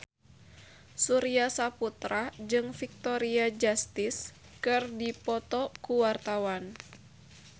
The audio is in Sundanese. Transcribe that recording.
Surya Saputra jeung Victoria Justice keur dipoto ku wartawan